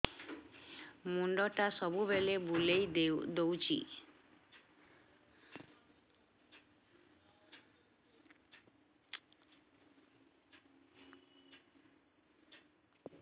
ମୁଣ୍ଡଟା ସବୁବେଳେ ବୁଲେଇ ଦଉଛି